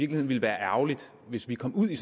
det ville være ærgerligt hvis vi kom ud i